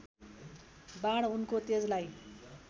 बाण उनको तेजलाई